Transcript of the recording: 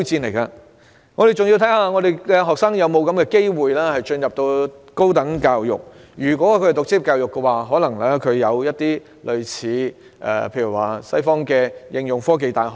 當然，還要視乎學生有否機會進入高等教育，因為如果他們選擇職業教育的話，便有可能要提供類似西方的應用科技大學。